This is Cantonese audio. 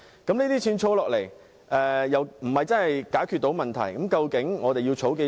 這些錢儲下來又不能真正解決問題，究竟我們要儲多少？